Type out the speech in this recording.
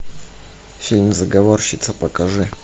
фильм заговорщица покажи